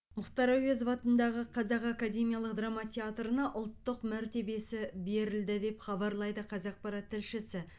мұхтар әуезов атындағы қазақ академиялық драма театрына ұлттық мәртебесі берілді деп хабарлайды қазақпарат тілшісі